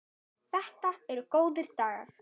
Þetta eru góðir dagar.